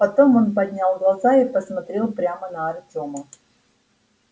потом он поднял глаза и посмотрел прямо на артема